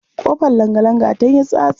Ƙofar langalanga tan yin tsatsa.